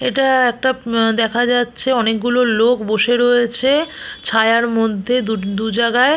এটা একটা উম আ দেখা যাচ্ছে অনেকগুলো লোক বসে রয়েছে ছায়ার মধ্যে দু জাগায়।